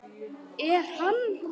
Er hann.